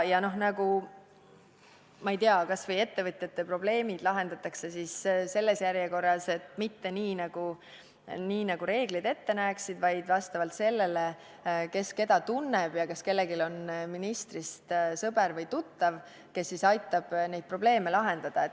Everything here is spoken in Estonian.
Ja, ma ei tea, kas või ettevõtjate probleemid lahendatakse siis selles järjekorras – mitte nii, nagu reeglid ette näeksid, vaid vastavalt sellele, kes keda tunneb ja kas kellelgi on ministrist sõber või tuttav, kes aitab probleeme lahendada.